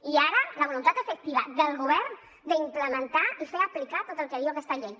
i ara la voluntat efectiva del govern d’implementar i fer aplicar tot el que diu aquesta llei